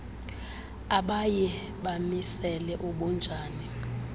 abaye bamisele ubunjani